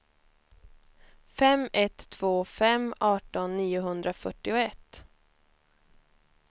fem ett två fem arton niohundrafyrtioett